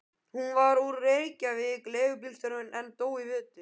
Hann var úr Reykjavík, leigubílstjóri, en dó í vetur.